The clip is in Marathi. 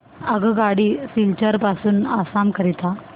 आगगाडी सिलचर पासून आसाम करीता